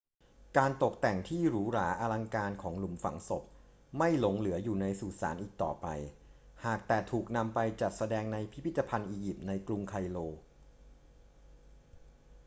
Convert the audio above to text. การตกแต่งที่หรูหราอลังการของหลุมฝังศพไม่หลงเหลืออยู่ในสุสานอีกต่อไป หากแต่ถูกนำไปจัดแสดงในพิพิธภัณฑ์อียิปต์ในกรุงไคโร